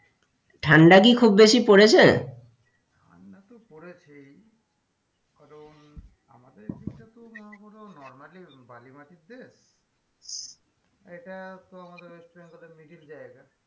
ঠান্ডা কি খুব বেশি পড়েছে ঠাণ্ডাতো পড়েছেই কারণ আমাদের এই দিকটা মনেকরুন normally বালি মাটির দেশ এটা তো আমাদের west bengal এর middle জায়গা,